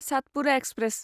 Satpura express